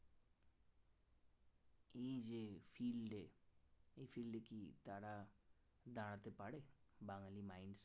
এই যে field এই field কি তারা দাঁড়াতে পারে বাঙালি mind কি